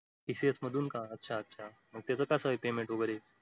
tcs मधून का अच्छा अच्छा मग तेज कसं आहे payment वगैरे?